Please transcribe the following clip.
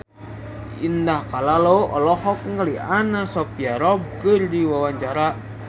Indah Kalalo olohok ningali Anna Sophia Robb keur diwawancara